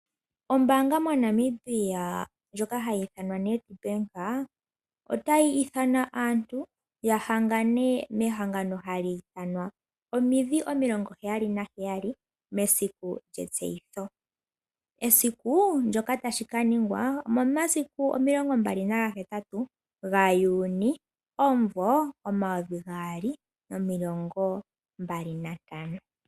Ombaanga moNamibia ndjoka hayi ithanwa Nedbank otayi ithana aantu yahangane mehangano hali ithanwa omidhi omilongo heyali naheyali mesiku lyetseyitho. Esiku ndjoka tashi kaningwa omomasiku omilongo mbali nagahetatu gaJuni omumvo omayovi gaali nomilongo mbali nantano.